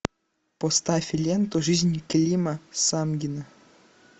поставь ленту жизнь клима самгина